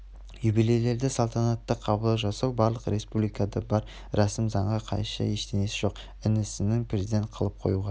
юбилейлерде салтанатты қабылдау жасау барлық республикада бар рәсім заңға қайшы ештеңесі жоқ інісін президент қылып қоюға